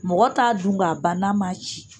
Mɔgɔ t'a dun ka ban n'a ma cicu